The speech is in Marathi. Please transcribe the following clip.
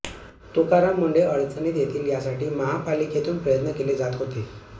तुकराम मुंढे अडचणीत येतील यासाठी महापालिकेतून प्रयत्न केले जात होते